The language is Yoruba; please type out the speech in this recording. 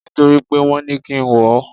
Nítorí pé wọn ní kí n wọ̀ ọ́.